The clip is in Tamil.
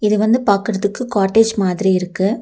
இது வந்து பாக்குறதுக்கு காட்டேஜ் மாதிரி இருக்கு.